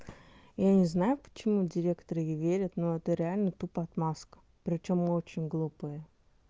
я не знаю почему директор ей верит но это реально тупо отмазка причём очень глупые